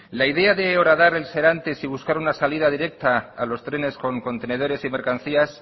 la idea de horadar el serantes y buscar una salida directa a los trenes con contenedores y mercancías